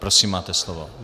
Prosím, máte slovo.